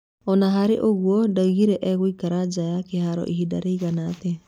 Ona harĩ o-ũguo, ndaugire egũikara nja ya kĩharo ihinda rĩigana atĩa.